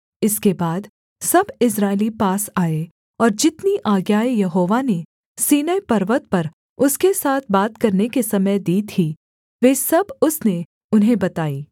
इसके बाद सब इस्राएली पास आए और जितनी आज्ञाएँ यहोवा ने सीनै पर्वत पर उसके साथ बात करने के समय दी थीं वे सब उसने उन्हें बताईं